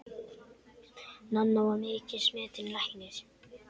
Nanna var mikils metinn læknir.